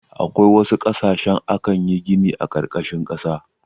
A wasu ƙasashe akan yi gini a ƙarƙashin ƙasa.